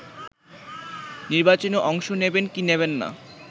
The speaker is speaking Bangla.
নির্বাচনে অংশ নেবেন কি নেবেন না